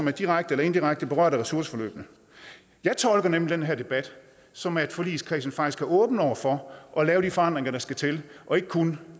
er direkte eller inddirekte berørt af ressourceforløbene jeg tolker nemlig den her debat som at forligskredsen faktisk er åben over for at lave de forandringer der skal til og ikke kun